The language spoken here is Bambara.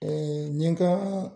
N ye ka